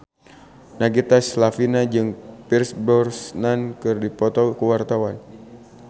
Nagita Slavina jeung Pierce Brosnan keur dipoto ku wartawan